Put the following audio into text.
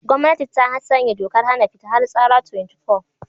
Gwamnati ta sanya dokar hana fita har tsara 24